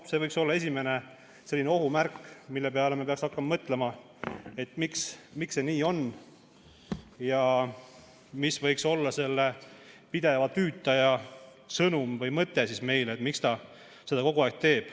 See võiks olla esimene ohumärk, mis peaks meid panema mõtlema, miks see nii on ja mis võiks olla selle pideva tüütaja mõte, et ta kogu aeg.